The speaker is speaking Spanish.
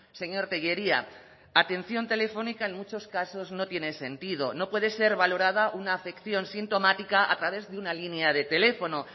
señor tellería atención telefónica en muchos casos no tiene sentido no puede ser valorada una afección sintomática a través de una línea de teléfono